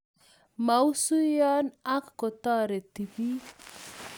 masuiyoo ak kotoretii bik